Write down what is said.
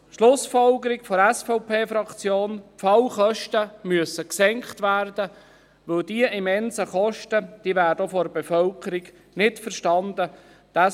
Schlussfolgerung der SVP-Fraktion: Die Fallkosten müssen gesenkt werden, weil die immensen Kosten auch von der Bevölkerung nicht verstanden werden.